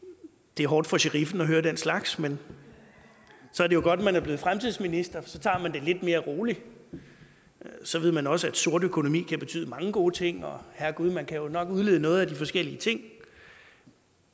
det er hårdt for sheriffen at høre den slags men så er det jo godt at man er blevet fremtidsminister så tager man det lidt mere roligt så ved man også at sort økonomi kan betyde mange gode ting og herregud man kan jo nok udlede noget af de forskellige ting